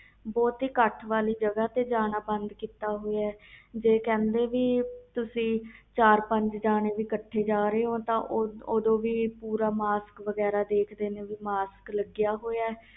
ਬਹੁਤੀ ਇਕੱਠ ਵਾਲੀ ਜਗ੍ਹਾ ਤੇ ਜਾਣਾ ਬੰਦ ਕੀਤਾ ਹੋਇਆ ਸੀ ਜੇ ਕਹਿੰਦੇ ਸੀ ਕਿ ਤੁਸੀ ਚਾਰ ਪੰਜ ਜਾਣੇ ਹੋ ਇਕੱਠੇ ਜਾ ਰਹੇ ਹੋ ਓਦੋ ਵੀ ਮਾਸਕ ਵਗੈਰਾ ਲਗਾ ਕੇ ਰੱਖਣ ਆ